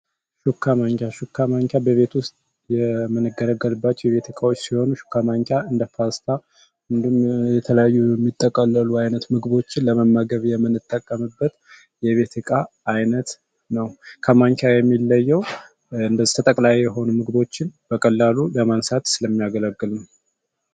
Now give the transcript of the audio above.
ሹካ ማንኪያ ሹካ ማንኪያ በቤት ውስጥ የምንገረገልባቸው የቤት እቃዎች ሲሆኑ፤ ሹካ ማንኪያ እንደ ፓስታ እንዲሁም የተለያዩ የሚጠቀለሉ ዓይነት ምግቦችን ለመመገብ የምንጠቀምበት የቤት እቃ ዓይነት ነው። ከማንኪያ የሚለየው እንደ ተጠቅላይ የሆኑ ምግቦችን በቀላሉ ለማንሳት ስለሚያገለግልም ነው።